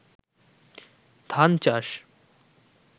ধান চাষ